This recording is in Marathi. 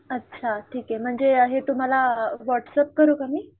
अच्छा ठीके म्हणजे हे तुम्हाला व्हाट्सअँप करू का मी?